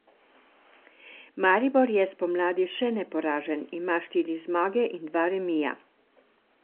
Maribor je spomladi še neporažen, ima štiri zmage in dva remija.